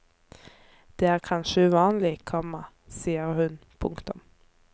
Det er kanskje uvanlig, komma sier hun. punktum